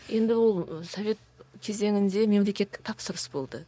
енді ол совет кезеңінде мемлекеттік тапсырыс болды